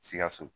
Sikaso